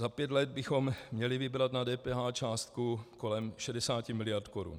Za pět let bychom měli vybrat na DPH částku kolem 60 mld. korun.